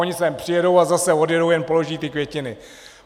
Oni sem přijedou a zase odjedou, jen položí ty květiny.